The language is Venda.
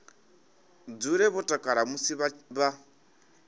dzule vho takala musi vha